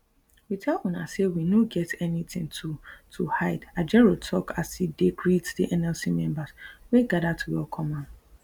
we tell una say we no get anytin to to hide ajaero tok as e dey greet di nlc members wey gada to welcome am